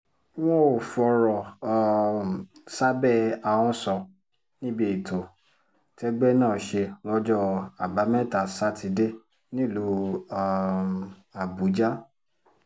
wọn ò fọ̀rọ̀ um sábẹ́ ahọ́n sọ níbi ètò tẹ́gbẹ́ náà ṣe lọ́jọ́ àbámẹ́ta sátidé nílùú um àbújá